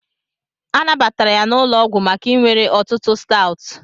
A nabatara ya n'ụlọ ọgwụ maka iwere ọtụtụ Stout